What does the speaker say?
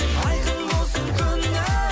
айқын болсын көңілің